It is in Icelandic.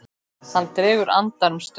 Hann dregur andann um stund.